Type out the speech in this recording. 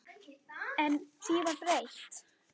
En því var breytt.